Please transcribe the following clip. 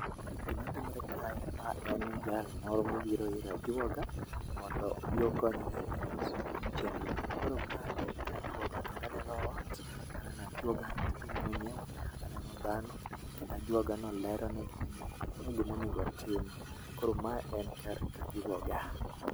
Gima timre kae ma en jal moro mobiro ir ajuoga mondo obi okonyre e loso chenro mage. Koro mae en kajuoga kendo aneno anena ajuoga mwenyewe , aneno dhano kendo ajuoga no lero ne gimomiyo gimonego otim, koro mae en kar ka juoga.